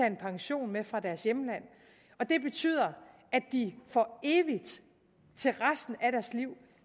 en pension med fra deres hjemland og det betyder at de for evigt og resten af deres liv